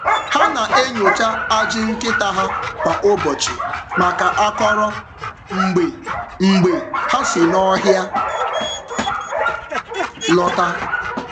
Ha na-enyocha ajị nkịta ha kwa ụbọchị maka akọrọ mgbe mgbe ha si n’ọhịa lọta.